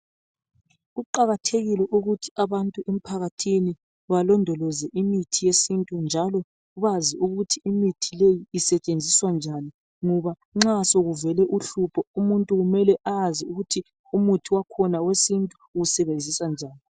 Kuqakathekile ukuthi abantu emphakathini balondoleze imithi yesintu njalo bazi ukuthi imithi le isetshenziswa njani ngoba nxa sokuvele uhlupho umuntu kumele ayazi ukuthi umuthi wakhona wesintu uwusebenzisa njani.